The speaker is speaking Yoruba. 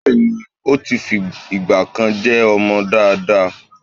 Bẹ́ẹ̀ni, ó ti fi ìgbà kan jẹ́ ọmọ dáadáa.